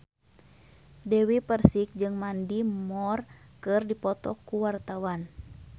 Dewi Persik jeung Mandy Moore keur dipoto ku wartawan